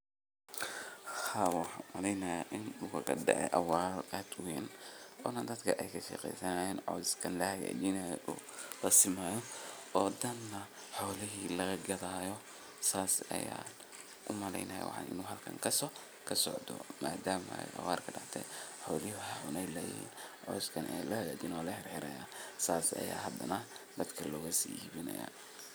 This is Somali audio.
sidoo kale waa muhiim in ganacsatada badarka ay yeeshaan aqoon ku saabsan baahida suuqyada dibadda taas oo ka caawin karta inay beegsadaan dalal gaar ah oo raadinaya noocyada badarka ee kenya kasoo saarto sida galleyda, sarreenka, iyo masagada intaas waxaa dheer ganacsiyadaas waa in ay helaan xiriir toos ah oo ay la yeeshaan